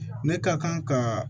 Ne ka kan ka